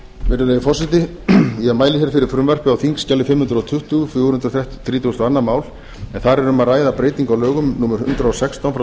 virðulegi forseti ég mæli fyrir frumvarpi á þingskjali fimm hundruð tuttugu fjögur hundruð þrítugustu og önnur mál en þar er um að ræða breytingu á lögum númer hundrað og sextán frá tvö